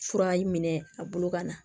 Fura minɛ a bolo ka na